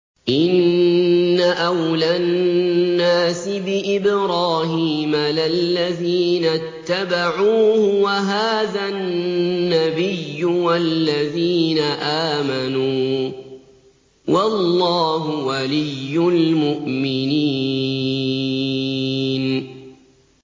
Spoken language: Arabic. إِنَّ أَوْلَى النَّاسِ بِإِبْرَاهِيمَ لَلَّذِينَ اتَّبَعُوهُ وَهَٰذَا النَّبِيُّ وَالَّذِينَ آمَنُوا ۗ وَاللَّهُ وَلِيُّ الْمُؤْمِنِينَ